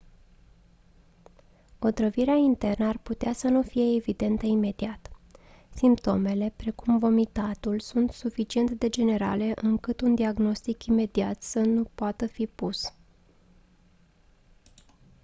otrăvirea internă ar putea să nu fie evidentă imediat simptomele precum vomitatul sunt suficient de generale încât un diagnostic imediat să nu poată fi pus